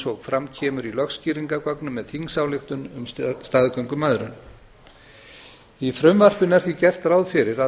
og fram kemur í lögskýringargögnum með þingsályktun um staðgöngumæðrun í frumvarpinu er því gert ráð fyrir að